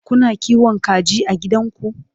Kuna kiwon kaji a gidanku?